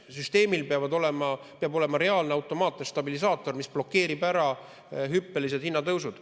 Süsteemil peab olema reaalne automaatne stabilisaator, mis blokeerib ära hüppelised hinnatõusud.